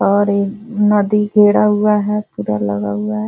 और नदी घेरा हुआ है पूरा लगा हुआ है --